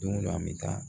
Don dɔ an bɛ taa